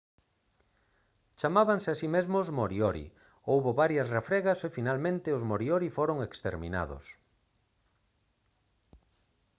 chamábanse a si mesmos moriori houbo varias refregas e finalmente os moriori foron exterminados